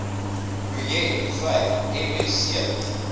projek vyf msc